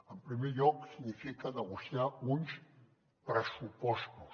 en primer lloc significa negociar uns pressupostos